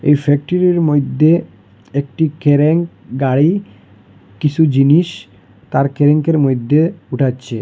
এই ফ্যাক্টরির মইদ্যে একটি কেরেন গাড়ি কিসু জিনিস তার কেরেঙ্কের মইদ্যে উঠাচ্ছে।